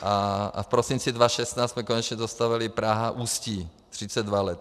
A v prosinci 2016 jsme konečně dostavěli Praha - Ústí, 32 let.